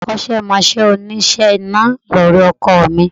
Akọ́sẹ́mọsẹ́ òníṣe iná ni ọ̀rẹ́ ọkọ mi